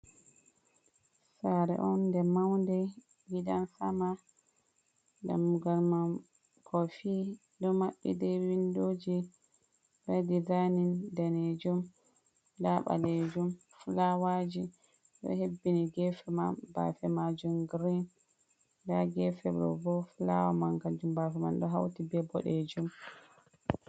Saare on, nde mawnde gidan-sama dammugal man kofi ɗo maɓɓi ɓe winndooji, ɓe waɗi Daynin daneejum nda ɓaleejum, fulaawaaji ɗo hebbini geefe man baafe maajum girin, nda geefe ɗo boo fulaawa man kanjum baafe man ɗo hawti bee boɗeejum.